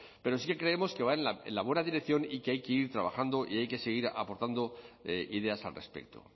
pero sí que creemos que va en la buena dirección y que hay que ir trabajando y hay que seguir aportando ideas al respecto